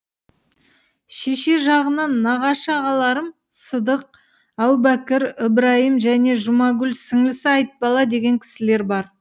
шеше жағынан нағашы ағаларым сыдық әубәкір ыбрайым және жұмағұл сіңлісі айтбала деген кісілер бар